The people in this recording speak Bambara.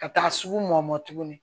Ka taa sugu mɔ tuguni